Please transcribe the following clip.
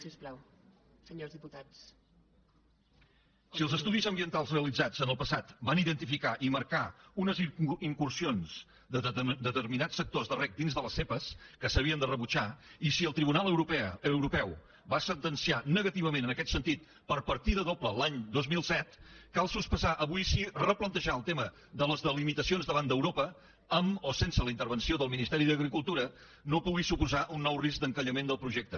si els estudis ambientals realitzats en el passat van identificar i marcar unes incursions de determinats sectors de reg dins de les zepa que s’havien de rebutjar i si el tribunal europeu va sentenciar negativament en aquest sentit per partida doble l’any dos mil set cal sospesar avui si replantejar el tema de les delimitacions davant d’europa amb o sense la intervenció del ministeri d’agricultura no pugui suposar un nou risc d’encallament del projecte